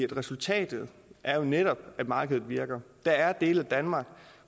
resultatet er jo netop at markedet virker der er dele af danmark